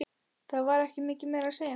Það var ekki mikið meira að segja.